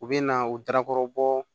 U bɛ na u dakɔrɔ bɔ